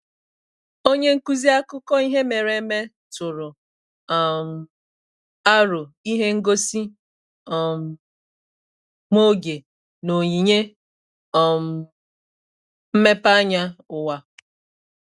Onye nkuzi akụkọ ihe mere eme tụrụ um aro ihe ngosi um nwa oge na onyinye um mmepeanya ụwa